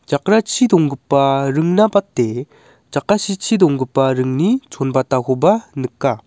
jakrachi donggipa ringna bate jakasichi donggipa ringni chonbatakoba nika.